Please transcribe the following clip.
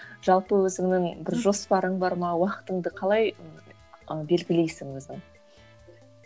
жалпы өзіңнің бір жоспарың бар ма уақытыңды қалай ы белгілейсің өзің